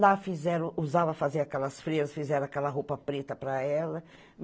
Lá fizeram, usava fazer aquelas freiras, fizeram aquela roupa preta para ela.